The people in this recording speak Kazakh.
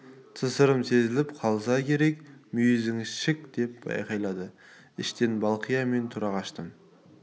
тысырым сезіліп қалса керек мүйізің шік деп айқайлады іштен балқия мен тұра қаштым